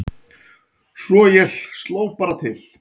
Svo ég sló bara til